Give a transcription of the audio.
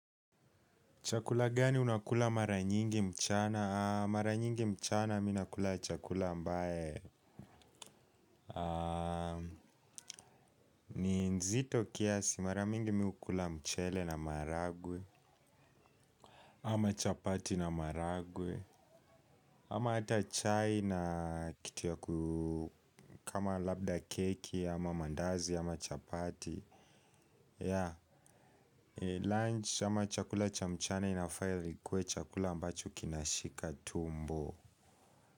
Chakula gani unakula mara nyingi mchana? Mara nyingi mchana minakula chakula ambae ni nzito kiasi, mara mingi mihukula mchele na maragwe. Ama chapati na maragwe. Ama hata chai na kitu yaku kama labda keki ama mandazi ama chapati. Ya, lunch ama chakula cha mchana inafaa ikuwe chakula ambacho kinashika tumbo.